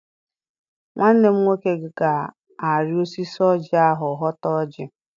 Nwanne m nwoke ga-arị osisi ọjị ahụ họta ọjị.